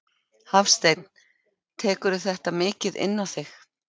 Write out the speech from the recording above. Hafsteinn: Tekurðu þetta mikið inn á þig?